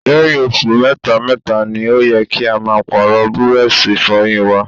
Lẹ́yìn oṣù mẹ́ta mẹ́ta ni ó yẹ kí a máa Pààrọ̀ búrọ́ọ̀ṣì Ìfọ̀yín wa